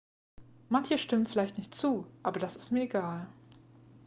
"""manche stimmen vielleicht nicht zu aber das ist mir egal.""